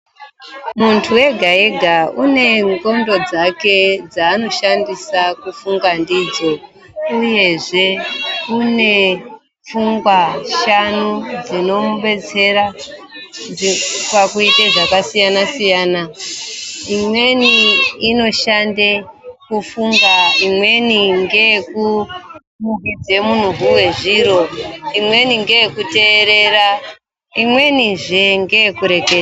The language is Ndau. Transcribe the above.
Muntu ega-ega une ndxondo dzake dzanoshandisa kufunga ndidzo uyezve une pfungwa shanu dzinomubetsera pakuite zvakasiyana -siyana. Imweni inoshande kufunga, imweni ngeyekunuhwidza munuhwi wezviro, imweni ngeyekuteerera imwenizve ngeyekure.